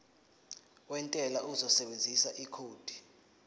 wentela uzosebenzisa ikhodi